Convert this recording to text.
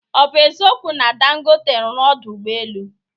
Ọ bụ eziokwu na Dangote rụrụ ọdụ ụgbọelu?